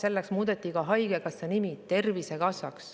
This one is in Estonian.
Selleks muudeti ka haigekassa nimi Tervisekassaks.